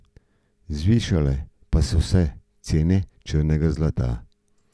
Zvišale pa so se cene črnega zlata.